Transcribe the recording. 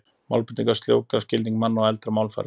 Málbreytingar sljóvga skilning manna á eldra málfari.